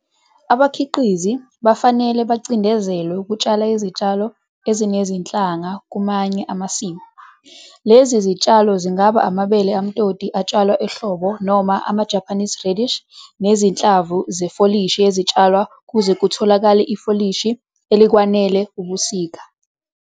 Abakhiqizi bafanele bacindezelwe ukutshala izitshalo ezinezinhlanga kumanye amasimu. Lezi zitshalo zingaba amabele amtoti atshalwa ehlobo noma ama-'Japanese radish' nezinhlamvu zefolishi ezitshalwa ukuze kutholakale ifolishi elikwanele ebusika.